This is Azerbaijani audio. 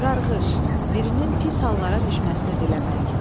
Qarqış, birinin pis hallara düşməsini diləmək.